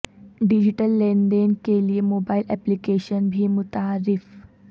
digital لین دین کے لئے موبائل اپلیکیشن بھیم متعارف